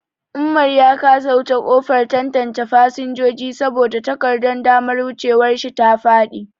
Umar ya kasa wuce kofar tantance fasinjoji saboda takardar damar wucewar shi ta faɗi.